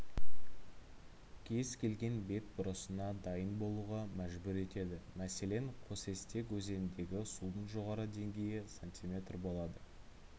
кез келген бетбұрысына дайын болуға мәжбүр етеді мәселен қосестек өзеніндегі судың жоғары деңгейі см болады